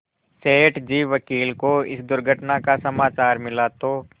सेठ जी वकील को इस दुर्घटना का समाचार मिला तो